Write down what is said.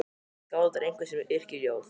Skáld er einhver sem yrkir ljóð.